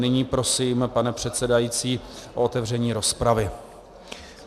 Nyní prosím, pane předsedající, o otevření rozpravy.